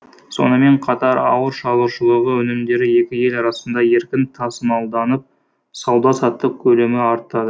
сонымен қатар ауыл шаруашылығы өнімдері екі ел арасында еркін тасымалданып сауда саттық көлемі арта